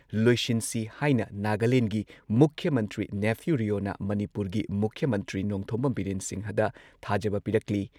ꯂꯣꯏꯁꯤꯟꯁꯤ ꯍꯥꯏꯅ ꯅꯥꯒꯥꯂꯦꯟꯗꯒꯤ ꯃꯨꯈ꯭ꯌ ꯃꯟꯇ꯭ꯔꯤ ꯅꯩꯐꯤꯌꯨ ꯔꯤꯑꯣꯅ ꯃꯅꯤꯄꯨꯔꯒꯤ ꯃꯨꯈ꯭ꯌ ꯃꯟꯇ꯭ꯔꯤ ꯅꯣꯡꯊꯣꯝꯕꯝ ꯕꯤꯔꯦꯟ ꯁꯤꯡꯍꯗ ꯊꯥꯖꯕ ꯄꯤꯔꯛꯂꯤ